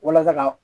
Walasa ka